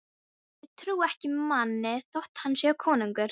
Ég trúi ekki manni þótt hann sé konungur.